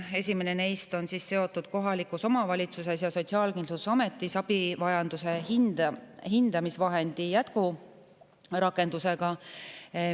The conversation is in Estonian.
Esimene neist on seotud kohalikus omavalitsuses ja Sotsiaalkindlustusametis abivajaduse hindamise vahendi jätkurakendusega.